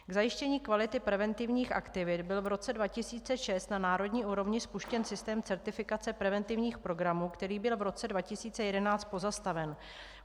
K zajištění kvality preventivních aktivit byl v roce 2006 na národní úrovni spuštěn systém certifikace preventivních programů, který byl v roce 2011 pozastaven.